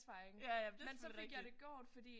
Ja ja men det er selvfølgelig rigtigt